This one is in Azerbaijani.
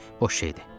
Boş şeydir.